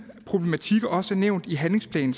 problematikker også er nævnt i handlingsplanen